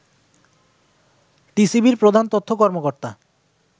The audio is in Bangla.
টিসিবির প্রধান তথ্য কর্মকর্তা